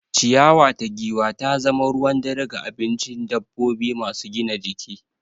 Ciyawa ta giwa ta zama ruwan dare ga abincin dabbobi masu gina jiki.